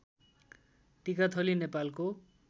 टिकाथली नेपालको